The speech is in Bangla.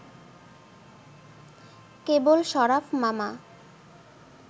কেবল শরাফ মামা